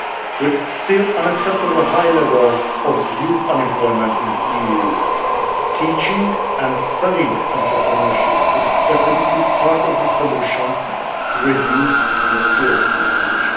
With still unacceptably high levels of youth unemployment in the EU, teaching and spreading entrepreneurship is definitely part of the solution to reduce the skills mismatch.